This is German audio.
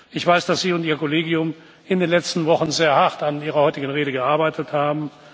Ich weiß, dass Sie und Ihr Kollegium in den letzten Wochen sehr hart an Ihrer heutigen Rede gearbeitet haben.